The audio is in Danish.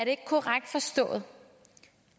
ikke korrekt forstået